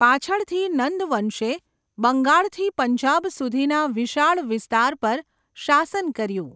પાછળથી, નંદ વંશે બંગાળથી પંજાબ સુધીના વિશાળ વિસ્તાર પર શાસન કર્યું.